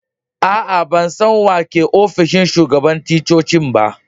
Aa, ban san wa ke a'ofishin shugaban ticcocin ba.